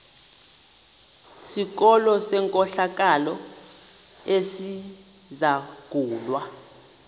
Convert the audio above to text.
sikolo senkohlakalo esizangulwa